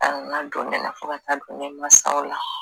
a nana don ne la fo ka taa don ne mansaw la